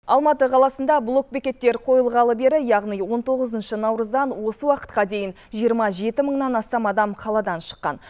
алматы қаласында блокбекеттер қойылғалы бері яғни он тоғызыншы наурыздан осы уақытқа дейін жиырма жеті мыңнан астам адам қаладан шыққан